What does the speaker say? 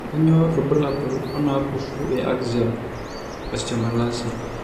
Kainyio irbulabul onaapuku eAxial osteomalacia?